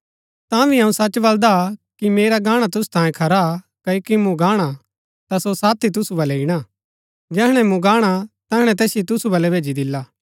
तांभी अऊँ सच बलदा कि मेरा गाणा तुसु तांयें खरा हा क्ओकि मूँ गाणा ता सो साथी तुसु बलै ईणा जैहणै मूँ गाणा तैहणै तैसिओ तुसु बलै भैजी दिला